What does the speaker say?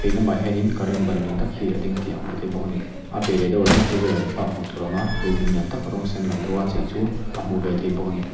lamah hianin current ban lian tâk hi a ding tih a hmuh theih bawk ani a piah leh deuh ah hian two wheeler in park hmuh tur awm a building lian tâk rawng sen lam deuha chei chu a hmuh ve theih bawk ani.